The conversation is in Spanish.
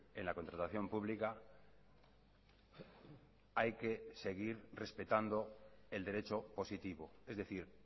en la contratación pública hay que seguir respetando el derecho positivo es decir